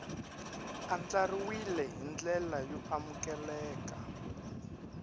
andlariwile hi ndlela yo amukeleka